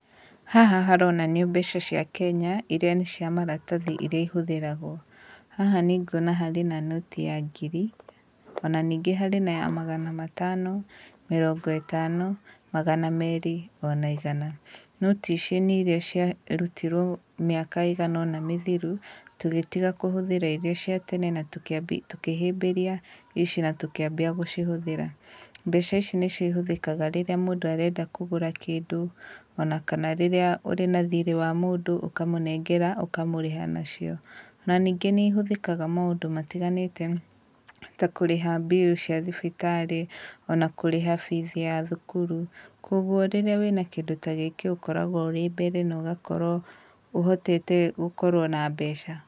Haha haronania mbeca cia Kenya iria nĩ cia maratathi irĩa ihũthĩragwo. Haha nĩnguona harĩ na noti ya ngiri, ona ningĩ harĩ na ya magana matano, mĩrongo ĩtano, magana merĩ ona igana. Noti ici nĩ iria ciarutirwo mĩaka ĩigana ona mĩthiru, tũgĩtiga kũhũthira iria cia tene na tũkĩhĩmbĩria ici na tũkĩambia gũcihũthĩra. Mbeca ici nĩcio ihũthĩkaga rĩrĩa mũndũ arenda kũgũra kĩndũ, ona kana rĩrĩa ũrĩ na thirĩ wa mũndũ ũkamũnengera ũkamũrĩha nacio. Ona ningĩ nĩ ihũthĩkaga maũndũ matiganĩte ta kũrĩha mbiru cia thibitarĩ, ona kũrĩha bithi ya thukuru, kũoguo rĩrĩa wĩna kĩndũ ta gĩkĩ ũkoragwo ũrĩ mbere na ũgakorwo ũhotete gũkorwo na mbeca.